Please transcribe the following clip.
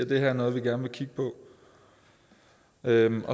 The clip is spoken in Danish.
det her er noget vi gerne vil